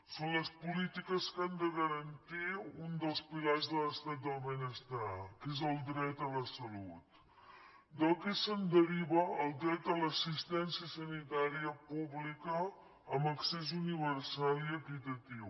són les polítiques que han de garantir un dels pilars de l’estat del benestar que és el dret a la salut del qual se’n deriva el dret a l’assistència sanitària pública amb accés universal i equitatiu